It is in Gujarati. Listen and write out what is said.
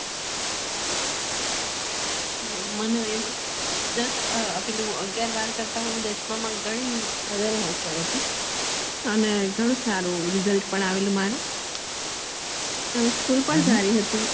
આવું દસ અ પેલું અગિયાર બાર કરતા દસમામાં હું ગણી હોશીયાર હતી અને ગણું સારું result પણ આવેલું મારું એ school પણ સારી હતી